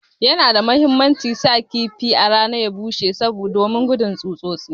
Yana da muhimmanci sa kifi ya bushe a rana domin gujin tsutsotsi.